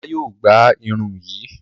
Ọlá yóò gbá irun yìí.